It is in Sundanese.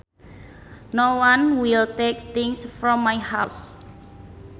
No one will take things from my house